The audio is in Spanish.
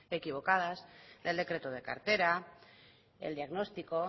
equivocadas del decreto de cartera el diagnóstico